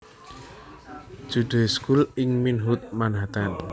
Jude School ing Inwood Manhattan